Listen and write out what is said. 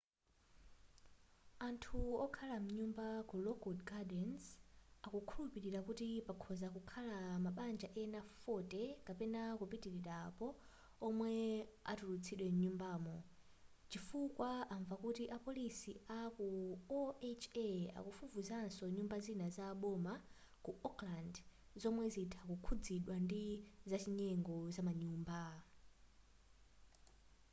anthu okhala m'manyumba ku lockwood gardens akukhulupilira kuti pakhoza kukhala mabanja ena 40 kapena kupitilira apo womwe atulutsidwe mnyumbamo chifukwa amva kuti apolisi aku oha akufufuzanso nyumba zina za boma ku oakland zomwe zitha kukhuzidwa ndi zachinyengo zamanyumba